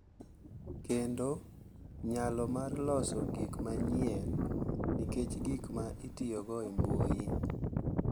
Kendo nyalo mar loso gik manyien nikech gik ma itiyogo e mbui.